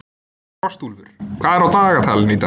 Frostúlfur, hvað er á dagatalinu í dag?